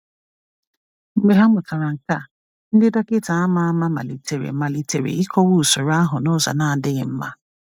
Mgbe ha mụtara nke a, ndị dọkịta ama ama malitere malitere ịkọwa usoro ahụ n’ụzọ na-adịghị mma.